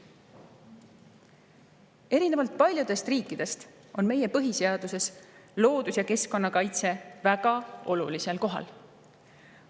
Erinevalt paljudest riikidest on meie põhiseaduses loodus- ja keskkonnakaitse väga olulisel kohal.